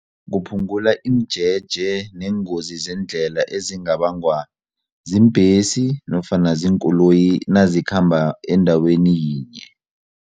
Kuphungula imijeje neengozi zeendlela ezingabangwa ziimbhesi nofana ziinkoloyi nazikhamba endaweni yinye.